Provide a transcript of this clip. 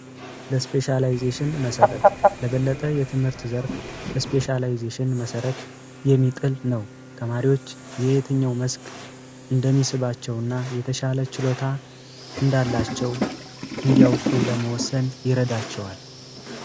ለስፔሻላይዜሽን መሰረት ለበለጠ የትምህርት ዘርፍ የስፔሻላይዜሽን መሰረት የሚጥል ነው። ተማሪዎች የየትኛውም መስክ እንደሚደርስባቸውና የተሻለ ችሎታ እንዳላቸው እንዲያውቁ ለመወሠን ይረዳቸዋል።